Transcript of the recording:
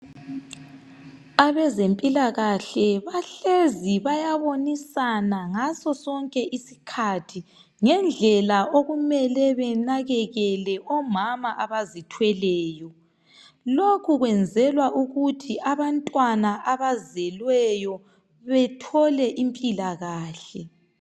Abezempilakahle bahlezi bayabonisana ngasosonke isikhathi ngendlela okumele benakekele omama abazithweleyo lokhu kwenzelwa ukuthi abantwana abazelweyo bethole impilakahle.